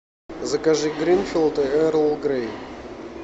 закажи гринфилд эрл грей